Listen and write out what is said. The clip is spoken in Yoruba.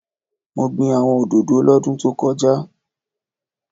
Mo gbin àwọn òdòdó lọ́dún tókojá